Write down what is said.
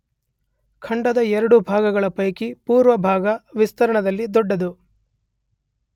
ಖಂಡದ ಎರಡು ಭಾಗಗಳ ಪೈಕಿ ಪೂರ್ವ ಭಾಗ ವಿಸ್ತೀರ್ಣದಲ್ಲಿ ದೊಡ್ಡದು.